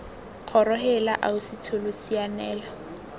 kgoro heela ausi tsholo sianela